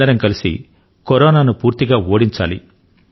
అందరమూ కలసి కరోనా ను పూర్తిగా ఓడించాలి